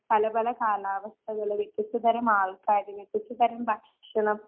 പലപല കാലാവസ്ഥകള്, വ്യത്യസ്ത തരം ആള്ക്കാര്, വ്യത്യസ്തതരം ഭക്ഷണം